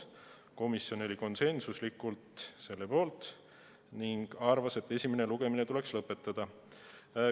Komisjon oli konsensuslikult mõlema ettepaneku poolt ning arvas, et esimene lugemine tuleks lõpetada.